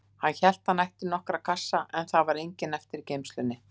Hann hélt að hann ætti nokkra kassa, en það var enginn eftir í geymslunni.